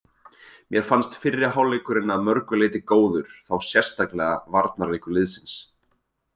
Mér fannst fyrri hálfleikurinn að mörgu leyti góður, þá sérstaklega varnarleikur liðsins.